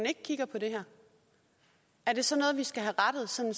ikke kigger på det her er det så noget vi skal have rettet sådan